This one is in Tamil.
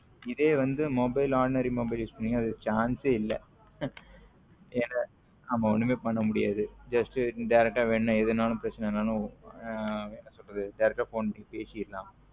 இதே வந்து mobile ordinary mobile use பண்ணிங்கன chance ஏ இல்ல என்ன ஆமா ஒன்னுமே பண்ண முடியாது just indirect எது வேணாலும் என்ன பிரசைனாலும் என்ன சொல்லுறது யாருகாவது phone பேசிரலாம்